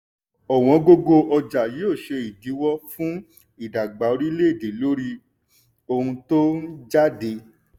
ọ̀wọ́n gógó ọjà yóò ṣe ìdíwó fún ìdàgbà oríléèdè lórí ohun tó ń jáde.